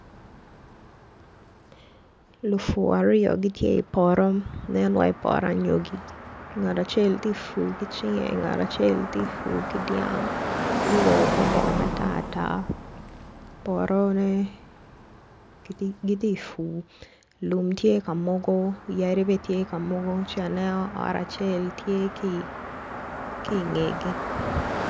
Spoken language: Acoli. Lupur aryo gitye i poto nen iwaci poto anyogi ngat acel ti pur ki cinge ngat acel ti pur ki dyang guruko ko bongo matar tar potone giti pur lum tye ka mogo yadi bene tye ka mogo ci aneno ot acel tye ki ingegi.